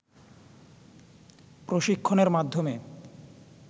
প্রশিক্ষণের মাধ্যমে